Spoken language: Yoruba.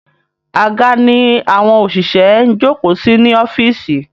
Àga ni àwọn òṣìṣẹ́ ń jókòó sí ní ọ́fíìsì.